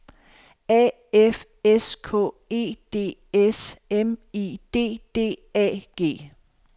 A F S K E D S M I D D A G